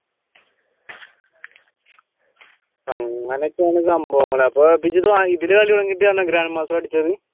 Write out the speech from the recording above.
അപ്പൊ അങ്ങനെയൊക്കെയാണ് സംഭവങ്ങൾ അപ്പൊ ഇതിൽ കളി തുടങ്ങിയിട്ടാണോ grandmaster അടിച്ച്?